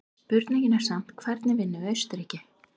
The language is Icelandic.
Spurningin er samt hvernig vinnum við Austurríki?